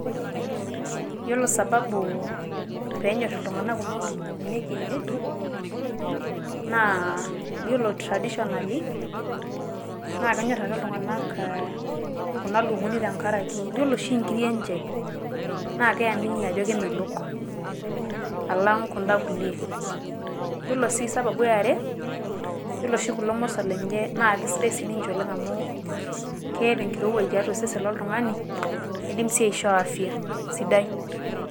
Eiyelo sababu pee enyor iltung'anak kuna ilukunguni e kienyeji, naa eiyelo traditionally naa kenyor ake iltung'anak kuna ilukunguni teng'araki iyeloo sii nkirii enchee naa keamini ajo kemelook alang kundaa nkulee. Yeloo sii sababu e are eiyelo sii kuloo mooso lenye naa kesidai sii ninchee amu keeta nkirewaaj teatu sesen lo iltung'ani neidiim ashoo afia sidai.